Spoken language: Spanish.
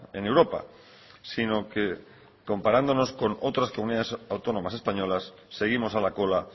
en europa sino que comparándonos con otras comunidades autónomas españolas seguimos a la cola